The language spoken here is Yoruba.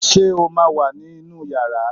Ṣé o ma wà ní inú yàrá